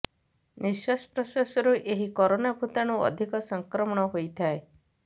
ନିଶ୍ୱାସ ପ୍ରଶ୍ୱାସରୁ ଏହି କୋରୋନା ଭୂତାଣୁ ଅଧିକ ସଂକ୍ରମଣ ହୋଇଥାଏ